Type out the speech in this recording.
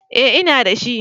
Eh ina dashi